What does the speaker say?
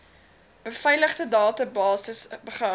beveiligde databasis gehou